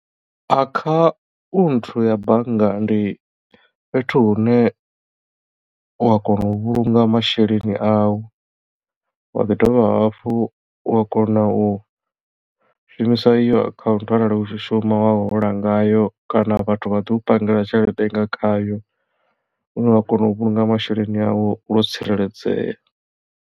Akhaunthu ya bannga ndi fhethu hune u a kona u vhulunga masheleni au wa ḓi dovha hafhu wa kona u shumisa iyo akhaunthu arali u tshi shuma wa hola ngayo kana vhathu vha ḓi u pangela tshelede nga khayo une wa kona u vhulunga masheleni au yo tsireledzea.